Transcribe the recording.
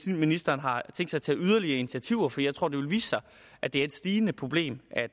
ministeren har tænkt sig at tage yderligere initiativer for jeg tror det vil vise sig at det er et stigende problem at